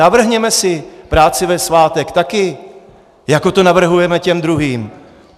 Navrhněme si práci ve svátek taky, jako to navrhujeme těm druhým.